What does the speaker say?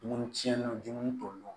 Dumuni tiɲɛni don dumuni t'o nɔ